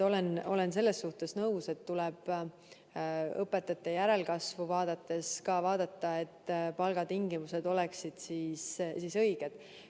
Olen selles suhtes nõus, et õpetajate järelkasvu vaadates tuleb vaadata ka seda, et palgatingimused oleksid õiged.